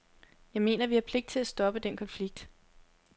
Jeg mener, at vi har pligt til at stoppe den konflikt.